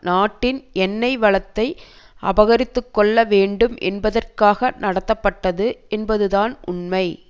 நாட்டின் எண்ணெய் வளத்தை அபகரித்துக்கொள்ள வேண்டும் என்பதற்காக நடத்தப்பட்டது என்பதுதான் உண்மை